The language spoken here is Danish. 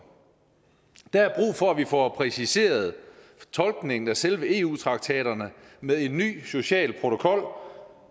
der er brug for at vi får præciseret tolkningen af selve eu traktaterne med en ny social protokol